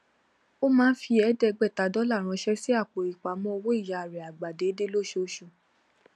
ó máa ń fi ẹẹdẹgbẹta dollar ránṣẹ sí àpò ipamọ owó ìyá rẹ àgbà déédéé lóṣooṣù